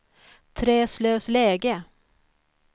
Träslövsläge